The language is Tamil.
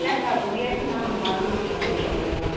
இல்லக்கா முயற்சி நாம பண்ணணுங்கா கொஞ்சம் அவ்வளவு தான்